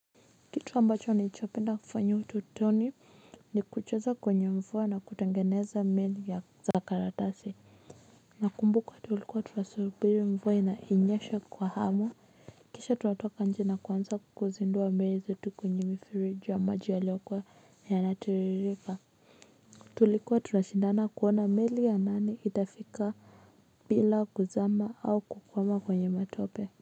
Kitu ambacho nilichopenda kufanyiwa utotoni ni kucheza kwenye mvue na kutengeneza meli ya za karatasi. Nakumbuka tulikuwa tunasubiri mvua ina inyeshe kwa hamu. Kisha tunatoka nje na kuanza kuzindua meli zetu kwenye mifereji ya maji yaliokuws yanatiririka. Tulikuwa tunashindana kuona meli ya nani itafika bila kuzama au kukwama kwenye matope.